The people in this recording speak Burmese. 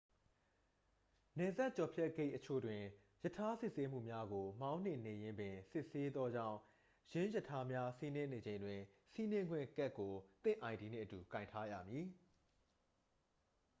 နယ်စပ်ဖြတ်ကျော်ဂိတ်အချို့တွင် ရထား စစ်ဆေးမှုများကို မောင်းနှင်နေရင်းပင် စစ်ဆေးသောကြောင်း ယင်းရထားများ စီးနင်းနေချိန်တွင် စီးနင်းခွင့်ကတ်ကို သင့် id နှင့်အတူ ကိုင်ထားရမည်